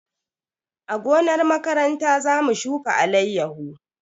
A gonar makaranta za mu shuka alayyahu.